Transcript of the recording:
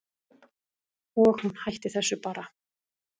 Og hún hætti þessu bara.